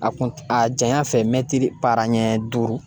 A kun a janya fɛ mɛtiri para ɲɛ duuru.